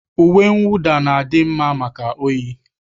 Uwe mwụda na-adị mma maka oyi